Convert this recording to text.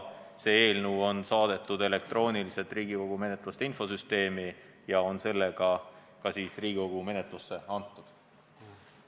See eelnõu on saadetud elektrooniliselt Riigikogu eelnõude menetluse infosüsteemi ja on seega Riigikogu menetlusse antud.